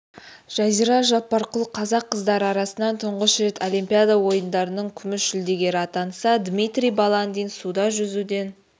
жазира жаппарқұл қазақ қыздары арасынан тұңғыш рет олимпиада ойындарының күміс жүлдегері атанса дмитрий баландин суда жүзуден